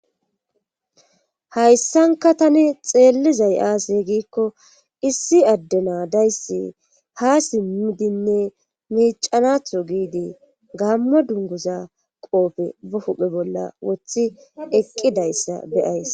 hayssanka tani xeellizay aaze giikko issi adde naadayssi ha simmidinne miicanatho giidi gammo dunguza qoope be huphphe bolla wothi eqqidayssa beyays